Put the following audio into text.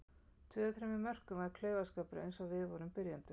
Tvö af þremur mörkum var klaufaskapur eins og við vorum byrjendur.